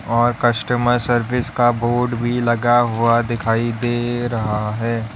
और customer service का board भी लगा हुआ दिखाई दे रहा है।